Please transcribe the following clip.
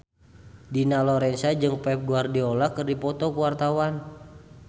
Dina Lorenza jeung Pep Guardiola keur dipoto ku wartawan